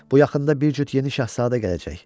Bu yaxında bir cüt yeni şahzadə gələcək.